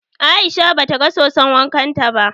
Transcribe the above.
Aisha ba ta ga soson wankan ta ba